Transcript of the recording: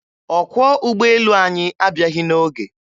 Ọkwọ ụgbọelu anyị abịaghị n'oge.